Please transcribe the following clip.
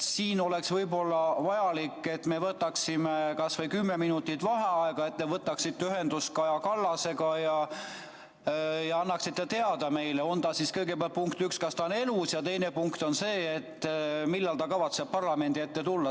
Siin oleks võib-olla vajalik, et me võtaksime kas või kümme minutit vaheaega, et te võtaksite ühendust Kaja Kallasega ja annaksite meile teada, kõigepealt, esiteks, kas ta on elus, ja teiseks, millal ta kavatseb parlamendi ette tulla.